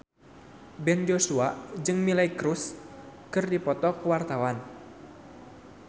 Ben Joshua jeung Miley Cyrus keur dipoto ku wartawan